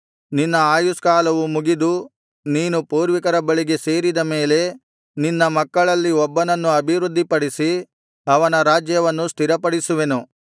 ನಿನ್ನ ಆಯುಷ್ಕಾಲವು ಮುಗಿದು ನೀನು ಪೂರ್ವಿಕರ ಬಳಿಗೆ ಸೇರಿದ ಮೇಲೆ ನಿನ್ನ ಮಕ್ಕಳಲ್ಲಿ ಒಬ್ಬನನ್ನು ಅಭಿವೃದ್ಧಿಪಡಿಸಿ ಅವನ ರಾಜ್ಯವನ್ನು ಸ್ಥಿರಪಡಿಸುವೆನು